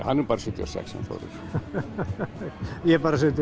hann er bara sjötíu og sex hann Þórir ég er bara sjötíu